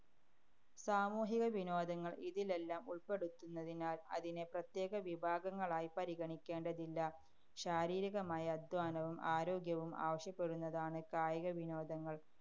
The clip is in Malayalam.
സാമൂഹിക വിനോദങ്ങള്‍ ഇതിലെല്ലാം ഉള്‍പ്പെടുന്നതിനാല്‍ അതിനെ പ്രത്യേക വിഭാഗങ്ങളായി പരിഗണിക്കേണ്ടതില്ല. ശാരീരികമായ അധ്വാനവും ആരോഗ്യവും ആവശ്യപ്പെടുന്നതാണ് കായികവിനോദങ്ങള്‍.